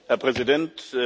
Herr Präsident!